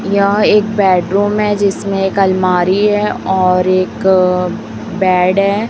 यह एक बेडरूम है जिसमें एक अलमारी है और एक अअ बेड है।